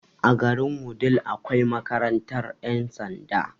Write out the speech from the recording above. A garin wudil akwai makarantar ƴan sanda